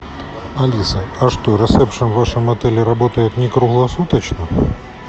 алиса а что ресепшн в вашем отеле работает не круглосуточно